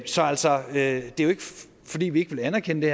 så altså det er jo ikke fordi vi ikke vil anerkende det